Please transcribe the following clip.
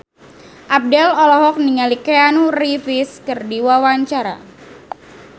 Abdel olohok ningali Keanu Reeves keur diwawancara